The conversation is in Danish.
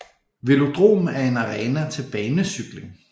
Velodrom er en arena til banecykling